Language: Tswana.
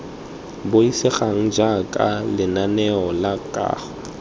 buisegang jaana lenaneo la kago